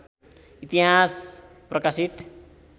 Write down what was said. इतिहास प्रकाशित